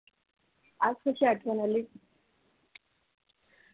आज कशी आठवण आली.